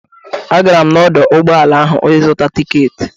Agara m n'ọdọ ụgbọala ahụ ịzụta tiketi.